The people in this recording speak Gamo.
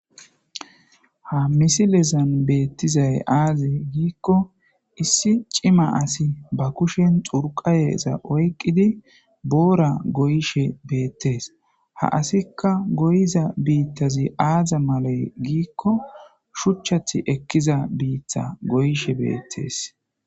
Ha misilezan beettizay aaze giikko issi cima asi ba kushen xurqayeza oyqqidi boora goyshe beettes ha asikka goyiza biittazi aaza malay giikko shuchchath ekkiza biitta goyshe beettees.